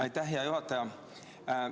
Aitäh, hea juhataja!